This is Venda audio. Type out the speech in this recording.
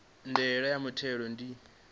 ya ndaela ya muthelo ndi